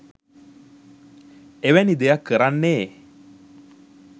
එවැනි දෙයක් කරන්නේ